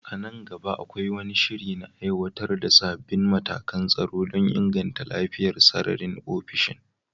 A nan gaba, akwai wani shiri na aiwatar da sabbin matakan tsaro don inganta lafiyar sararin ofishin?